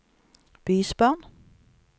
bysbarn